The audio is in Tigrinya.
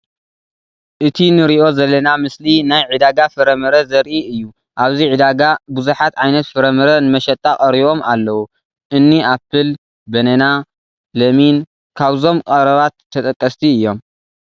እቲ ንሪኦ ዘለና ምስሊ ናይ ዕዳጋ ፍረ ምረ ዘርኢ እዩ፡፡ ኣብዚ ዕዳጋ ብዙሓት ዓይነት ፍረ ምረ ንመሸጣ ቀሪባም ኣለው፡፡ እኒ ኣፕል፣ በነና፣ ለሚን ካብዞም ቀረባት ተጠቀስቲ እዮም፡፡